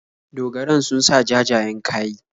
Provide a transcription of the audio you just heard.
Dogaran sun sa jajayen kayi.